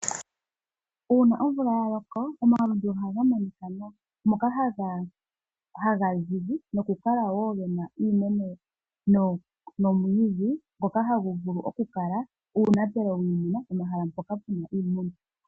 Uuna omvula ya loko omalundu ohaga monika nawa. Ohaga zizi ge na iimeno nomwiidhi na ohaga kala uunapelo wiimuna pomahala mpoka pu na iimuna.